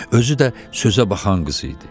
Özü də sözə baxan qız idi.